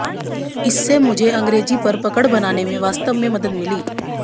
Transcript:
इससे मुझे अंग्रेजी पर पकड़ बनाने में वास्तव में मदद मिली